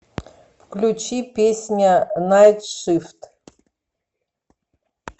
включи песня найт шифт